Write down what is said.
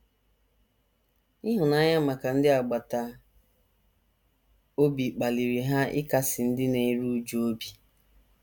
Ịhụnanya maka ndị agbata obi kpaliri ha ịkasi ndị na - eru újú obi.